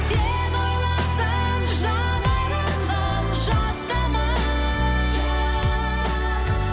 сені ойласам жанарыма жас тамар